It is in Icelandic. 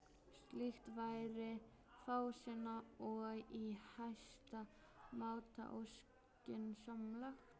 Slíkt væri fásinna og í hæsta máta óskynsamlegt.